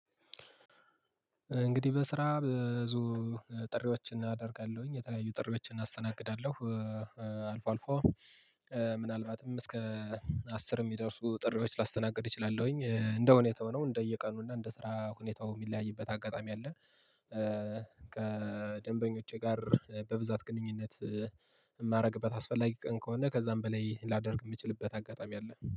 እንግዲህ በስራ ብዙ ጥሪዎችን አደርጋለሁኝ የተለያዩ ጥሪዎችን አናስተናግዳለሁ አልፎ አልፎ ምናልባትም እስከ አስር የሚደርሱ ጥሪዎች ላስተናግድ እችላለሁኝ እንደ ሁኔታው ነው። እንደየቀኑ እና እንደ ስራ ሁኔታው የሚለያይበት አጋጣሚ አለ። ከደንበኞቼ ጋር በብዛት ግንኙነት የማደርግበት አስፈላጊ ቀን ከሆነ ከዛም በላይ ላደርግ የምችልበት አጋጣሚ አለ